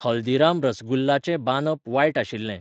हल्दीराम रसगुल्ला चें बांदप वायट आशिल्लें.